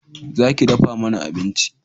Za ki dafa mana abinci!